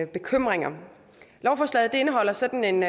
bekymringer lovforslaget indeholder sådan en